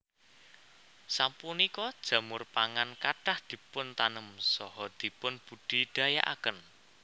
Sapunika jamur pangan kathah dipuntanem saha dipunbudidayakaken